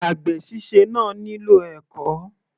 Àgbè síse náà nílò ẹ̀kọ́.